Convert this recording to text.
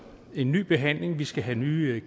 en ny behandling vi skal have nye